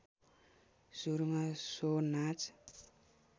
सुरुमा सो नाच